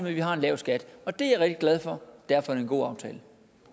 at vi har en lav skat det er jeg glad for og derfor er det en god aftale